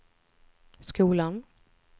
skolan